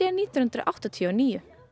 nítján hundruð áttatíu og níu